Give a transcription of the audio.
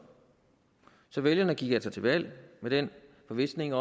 så vælgerne gik altså til valg i den forvisning